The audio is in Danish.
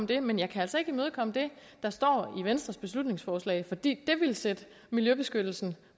det men jeg kan altså ikke imødekomme det der står i venstres beslutningsforslag for det ville sætte miljøbeskyttelsen